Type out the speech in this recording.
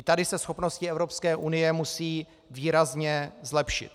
I tady se schopnosti Evropské unie musí výrazně zlepšit.